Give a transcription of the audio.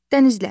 Dənizlər.